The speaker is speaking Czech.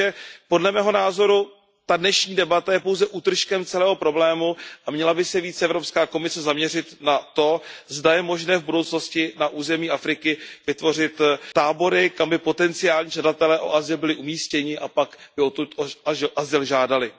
Takže, podle mého názoru, ta dnešní debata je pouze útržkem celého problému a měla by se více Evropská komise zaměřit na to, zda je možné v budoucnosti na území Afriky vytvořit tábory, kam by potencionální žadatelé o azyl byli umístěni a odtud by pak o azyl žádali.